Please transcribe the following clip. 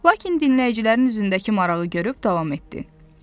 Lakin dinləyicilərin üzündəki marağı görüb davam etdi.